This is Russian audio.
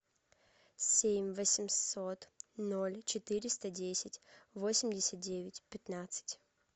семь восемьсот ноль четыреста десять восемьдесят девять пятнадцать